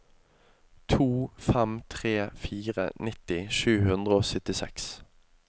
to fem tre fire nitti sju hundre og syttiseks